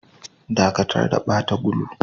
Dakatar da bata gulun!